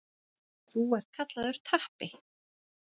Þú ert kallaður Tappi.